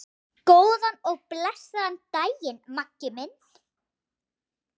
Góðan og blessaðan daginn, Maggi minn.